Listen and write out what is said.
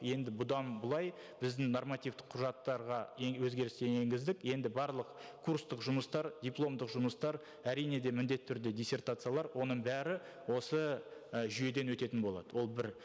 енді бұдан былай біздің нормативтік құжаттарға өзгерістер енгіздік енді барлық курстық жұмыстар дипломдық жұмыстар әрине де міндетті түрде диссертациялар оның бәрі осы і жүйеден өтетін болады ол бір